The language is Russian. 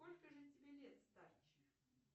сколько же тебе лет старче